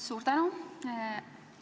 Suur tänu!